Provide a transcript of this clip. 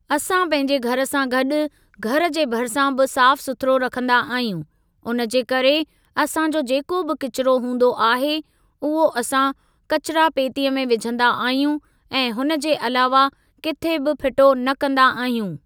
असां पंहिंजे घर सां गॾु घर जे भरिसां बि साफ़ सुथुरो रखंदा आहियूं हुन जे करे असां जो जेको बि किचिरो हूंदो आहे उहो असां कचिरा पेतीअ में विझंदा आहियूं ऐं हुन जे अलावा किथे बि फिटो न कंदा आहियूं।